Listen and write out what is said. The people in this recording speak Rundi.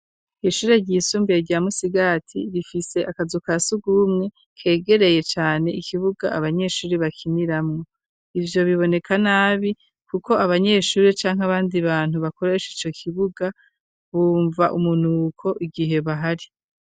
Ishuri ryisumbuye rya Musigati rifise akazu ka surwumwe kegereye cane ikibuga abanyeshuri bakiniramwo. Ivyo biboneka nabi, kuko abanyeshuri canke abandi bantu bakoresha ico kibuga, bumva umunuko igihe bahari.